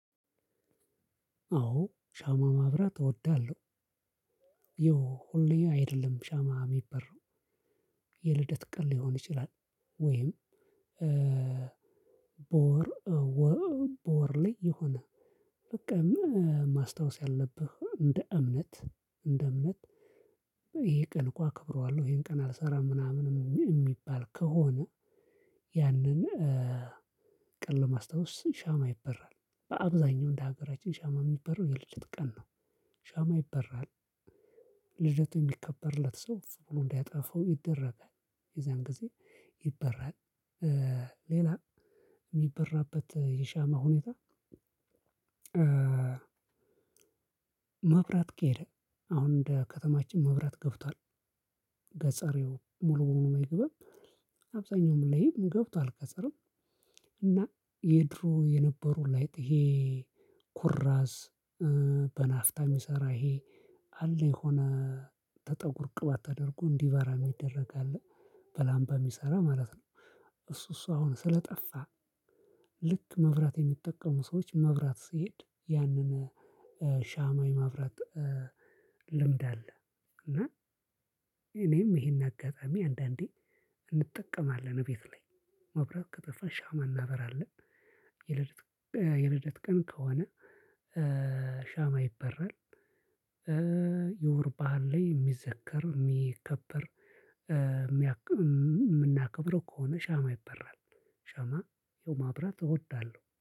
አዎ ሻማ ማብራት እወዳለሁ። ይኸው ሁሌ አይደለም ሻማ ሚበራው የልደት ቀን ሊሆን ይችላል። ወይም በወር ወር በወር ላይ የሆነ በቃ ማስታወስ ያለብህ እንደ እምነት እንደ እምነት። ይሄ ቀን እኮ አክብረዋለሁ ይሄን ቀን አልሰራም ምናምን የሚባል ከሆነ ያንን ቀን ለማስታወስ ሻማ ይበራል። በአብዛኛው እንደ ሀገራችን ሻማ የሚበራው የልደት ቀን ነው። ሻማ ይበራል ልደቱ የሚከበርለት ሰው ኡፍ ብሎ እንዲያጠፋው ይደረጋል። የዛን ጊዜ ይበራል። ሌላ የሚበራበት የሻማ ሁኔታ። መብራት ከሄደ አሁን እንደ ከተማችን መብራት ገብቷል። ገጸሬው ሙሉ ሙሉ አይገባም። አብዛኛው ምን ላይ ገብቶ ገጠርም። እና የድሮ የነበሩ ላይት ይሄ ኩራዝ በናፍጣ የሚሰራ ይሄ አለ የሆነ ተጠጉር ቅባት ተደርጎ እንዲበራ የሚደረግ አለ። በላምባ የሚሰራ ማለት ነው። እሱ እሱ አሁን ስለጠፋ ልክ መብራት የሚጠቀሙ ሰዎች መብራት ሲሄድ ያንን ሻማ የማብራት ልምድ አለ። እና እኔም ይሄን አጋጣሚ አንዳንዴ እንጠቀማለን እቤት ላይ መብራት ከጠፋ ሻማ እናበራለን። የልደት የልደት ቀን ከሆነ ሻማ ይበረል። የውር ባዓል ላይ የሚዘከር የሚከበር የምናከብረው ከሆነ ሻማ ይበራል። ሻማ ይኸው ማብራት እወዳለሁ